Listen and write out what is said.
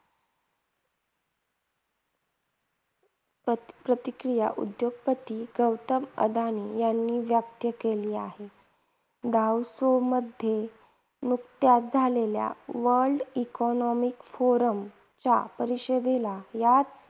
प्रति प्रतिक्रिया उद्योगपती गौतम अदानी यांनी व्यक्त केली आहे. दावोस मध्ये नुकत्याच झालेल्या वर्ल्ड इकॉनॉमिक फोरम या परिषदेला याच